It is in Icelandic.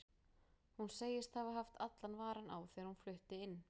Hún segist hafa haft allan varann á þegar hún flutti inn.